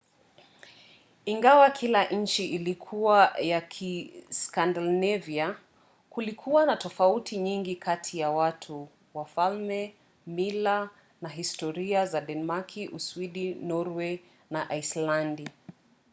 ingawa kila nchi ilikuwa ya 'kiskandinavia' kulikuwa na tofauti nyingi kati ya watu wafalme mila na historia za denmaki uswidi norway na aislandi